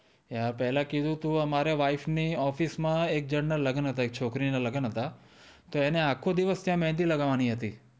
હા પેલા કીધું તું અમારી વાઇફે ની ઓફિસ માં એક જૂન ના લગન હતા એક છોકરી ના લગન હતા તો અને આખો દિવશ ત્યાં મેંદી લાગવાની હતી